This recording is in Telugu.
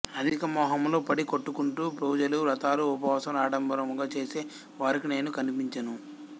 అధికమోహములో పడి కొట్టుకుంటూ పూజలు వ్రతములు ఉపవాసములు ఆడంబరముగా చేసే వారికి నేను కనిపించను